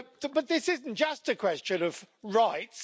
But this isn't just a question of rights